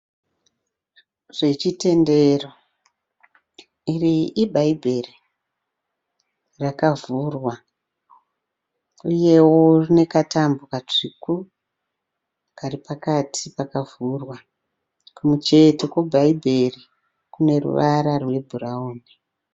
Zvechitendero. Iri ibhaibheri, rakavhurwa. Uyewo rinekatambo katsvuku kari pakati pakavhurwa. Kumucheto kwebhaibheri kune ruvara rwebhurawuni.